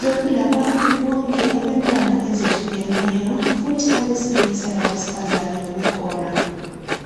,bekulabantu bonke abentanga ezehlukeneyo ,futhi abesilisa labesifazane bebekhona.